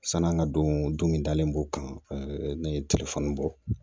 San'an ka don min dalen b'o kan ne ye bɔ